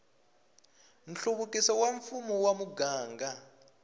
nhluvukiso wa mfumo wa muganga